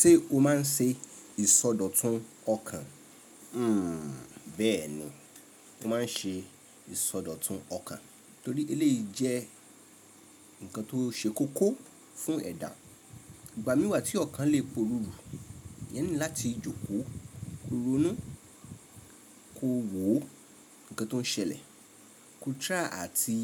Ṣé o máa ń ṣe ìsọdọ̀tun ọkàn? Hmm. Bẹ́ẹ̀ni, mo máa ń ṣe ìsọdọ̀tun ọkàn torí eleyi jẹ́ nnkan tó ṣe kókó fún ẹ̀dà. Ìgbà mìí tí ọkàn lè porúru, eeyan need láti jókòó, ko rónu, ko wo ǹkan tó ń ṣẹlẹ̀, ko try àti